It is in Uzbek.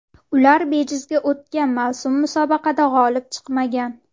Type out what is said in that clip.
Ular bejizga o‘tgan mavsum musobaqada g‘olib chiqmagan.